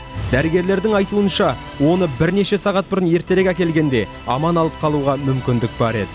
дәрігерлердің айтуынша оны бірнеше сағат бұрын ертерек әкелгенде аман алып қалуға мүмкіндік бар еді